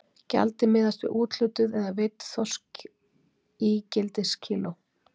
Gjaldið miðaðist við úthlutuð eða veidd þorskígildiskíló.